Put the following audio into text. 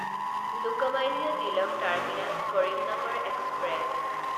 Lokmanya Tilak terminus Karimnagar express